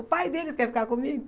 O pai deles quer ficar comigo.